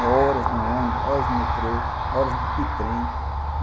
É horas no ônibus, horas no metrô, horas de trem.